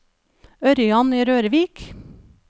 Ørjan Rørvik